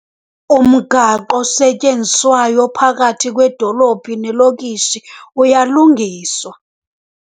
Umgaqo osetyenziswayo ophakathi kwedolophu nelokishi uyalungiswa